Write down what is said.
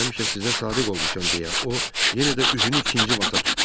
Mən həmişə sizə sadiq olmuşam deyə o yenə də üzünü ikinci vata tutdu.